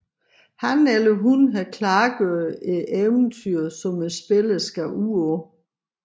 Han eller hun har klargjort et eventyr som spillerne skal ud på